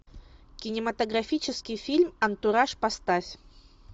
кинематографический фильм антураж поставь